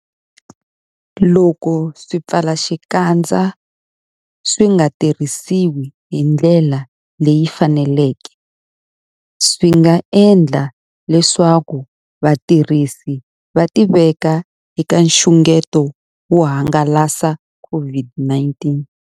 Loko swipfalaxikandza swi nga tirhisiwi hi ndlela leyi faneleke, swi nga endla leswaku vatirhisi va tiveka eka nxungeto wo hangalasa COVID-19.